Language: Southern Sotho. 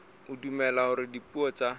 o dumela hore dipuo tsa